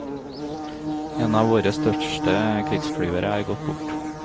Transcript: En av våre største krigsflyvere er gått bort.